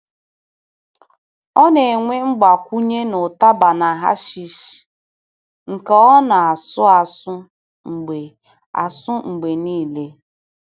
Ọ na-enwe mgbakwunye n’útaba na hashish, nke ọ na-asụ asụ mgbe asụ mgbe niile.